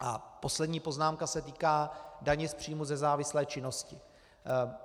A poslední poznámka se týká daně z příjmů ze závislé činnosti.